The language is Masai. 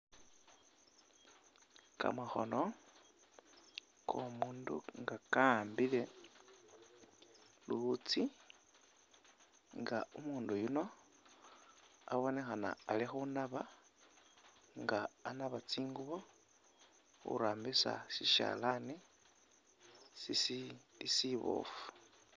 Kamakhono k'omundu nga kakhambile luwutsi nga umundu yuno abonekhana ali khunaba nga anaba tsingubo khurambisa sishalani sisiili shiboofu.